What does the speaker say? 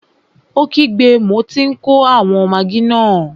Ó kígbe, mo tí n kó àwọn magí náà!